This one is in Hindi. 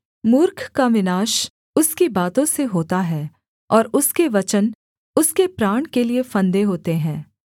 मूर्ख का विनाश उसकी बातों से होता है और उसके वचन उसके प्राण के लिये फंदे होते हैं